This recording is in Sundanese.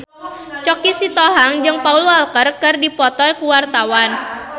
Choky Sitohang jeung Paul Walker keur dipoto ku wartawan